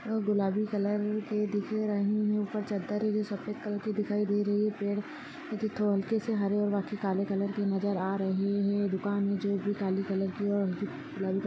गुलाबी कलर के दिख रहे हैं ऊपर चद्दर भी सफेद कलर की दिखाई दे रही है पेड़ जो थोड़े हल्के से हरे और बाकी काले कलर के नज़र आ रहे है दुकान है जो की काली कलर की और--